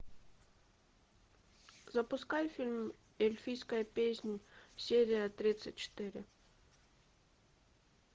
запускай фильм эльфийская песнь серия тридцать четыре